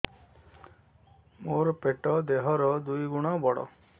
ମୋର ପେଟ ଦେହ ର ଦୁଇ ଗୁଣ ବଡ